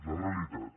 la realitat